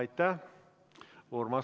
Aitäh!